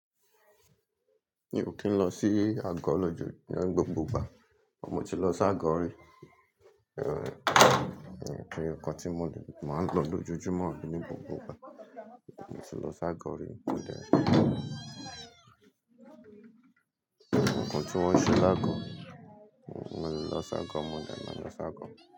Mi ò kí ń lọ sí àgọ́ lójo ní gbogbo ìgbà, àmọ́ mo ti lọ s'ágọ̀ọ́ rí. Nǹkan tí mo máa ń lọ lójoojúmọ́ ní gbogbo ìgbà. Mo ti lọ s'ágọ̀ọ́ rí, mo dẹ̀, nǹkan tí wọ́n ń ṣe l'ágọ̀ọ́, mo le lọ s'ágọ̀ọ́ mó dẹ̀ máa lọ s'ágọ̀ọ́